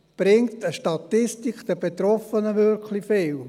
Bringt eine Statistik den Betroffenen wirklich viel?